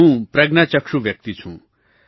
હું પ્રજ્ઞાચક્ષુ વ્યક્તિ છું